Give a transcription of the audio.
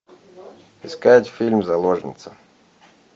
искать фильм заложница